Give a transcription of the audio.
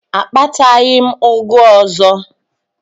Akpataghị m ụgụ ọzọ.